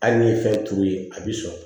Hali ni ye fɛn turu i bi sɔn